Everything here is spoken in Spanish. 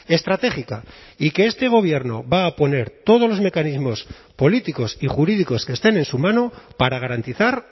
estratégica y que este gobierno va a poner todos los mecanismos políticos y jurídicos que estén en su mano para garantizar